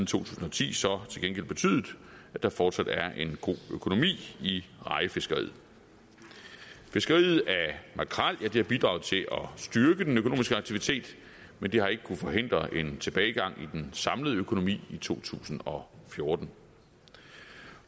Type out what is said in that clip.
tusind og ti så til gengæld betydet at der fortsat er en god økonomi i rejefiskeriet fiskeriet af makrel har bidraget til at styrke den økonomiske aktivitet men det har ikke kunnet forhindre en tilbagegang i den samlede økonomi i to tusind og fjorten